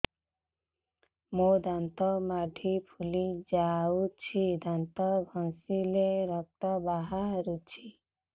ମୋ ଦାନ୍ତ ମାଢି ଫୁଲି ଯାଉଛି ଦାନ୍ତ ଘଷିଲେ ରକ୍ତ ବାହାରୁଛି